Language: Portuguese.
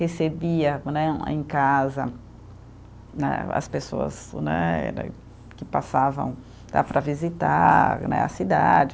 Recebia né em casa, né as pessoas né era, que passavam lá para visitar né a cidade.